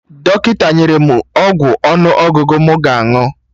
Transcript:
Dọkịta nyere mụ ọgwụ ọnụ ọgụgụ mụ ga-aṅụ